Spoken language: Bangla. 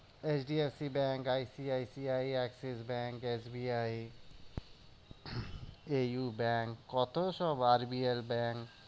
H D F C bank, I C I C I, Axis bank, S B I, A U bank কত সব আর বি এল ব্যাঙ্ক